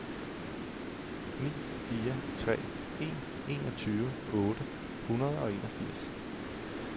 ni fire tre en enogtyve otte hundrede og enogfirs